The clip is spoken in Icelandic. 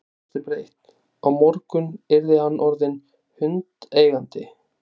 Hann brosti breitt: Á morgun yrði hann orðinn hundeigandi!